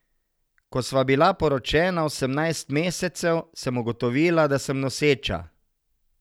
Ko sva bila poročena osemnajst mesecev, sem ugotovila, da sem noseča.